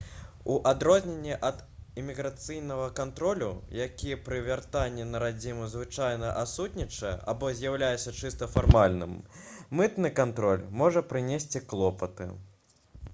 у адрозненні ад іміграцыйнага кантролю які пры вяртанні на радзіму звычайна адсутнічае або з'яўляецца чыста фармальным мытны кантроль можа прынесці клопаты